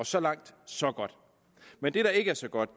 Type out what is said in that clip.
så langt så godt men det der ikke er så godt